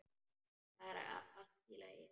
Þetta er allt í lagi.